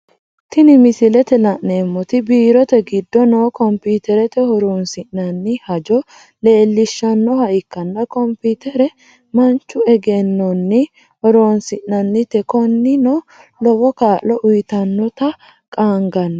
Tini misilete la'neemoti biirote gido no kompuuterete hornsinnanni hajo leelishanoha ikkanna komputere manchu eggenonni horonsi'nanite koninino lowo kaa'lo uyyitanota qaanganni